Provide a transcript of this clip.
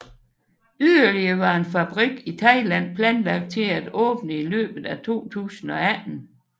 Yderligere var en fabrik i Thailand planlagt til at åbne i løbet af 2018